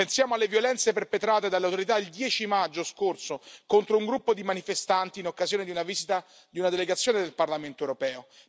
pensiamo alle violenze perpetrate dalle autorità il 10 maggio scorso contro un gruppo di manifestanti in occasione di una visita di una delegazione del Parlamento europeo